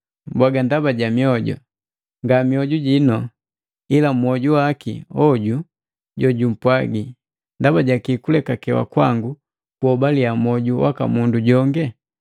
Mbwaga, “Ndaba ja mioju,” Nga mioju jino, ila mwoju waki hoju jojumpwaji. “Ndaba ja kii kulekakewa kwangu kuhobaliya mwoju waka mundu jonge?